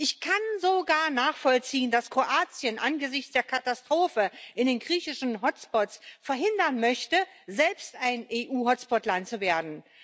Ich kann sogar nachvollziehen, dass Kroatien angesichts der Katastrophe in den griechischen Hotspots verhindern möchte, selbst ein EU Hotspot Land zu werden.